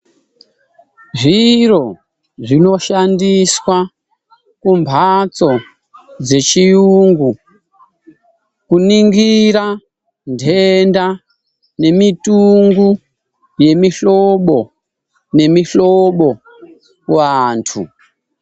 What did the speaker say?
Zviro zvinoshandiswa kumbatso dzechiyungu kuningira ntenda nemitungu yemihlobo nemihlobo kuvantu.